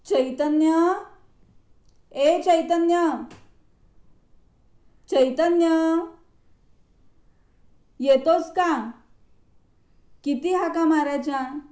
चैतन्य, ए चैतन्य.. चैतन्य.. येतोस का? किती हाका मारायच्या?